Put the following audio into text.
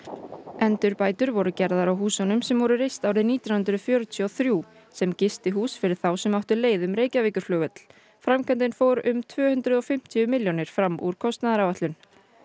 endurbætur voru gerðar á húsum sem voru reist árið nítján hundruð fjörutíu og þrjú sem gistihús fyrir þá sem áttu leið um Reykjavíkurflugvöll framkvæmdin fór um tvö hundruð og fimmtíu milljónir fram úr kostnaðaráætlun